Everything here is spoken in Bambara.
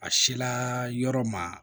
A sela yɔrɔ ma